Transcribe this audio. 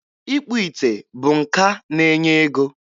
Ịkpụ ite bụ nka na-enye ego.